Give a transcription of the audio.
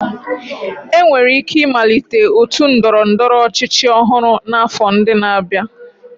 Enwere ike ịmalite otu ndọrọ ndọrọ ọchịchị ọhụrụ n'afọ ndị na-abịa